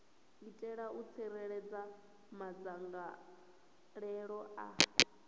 itela u tsireledza madzangalelo a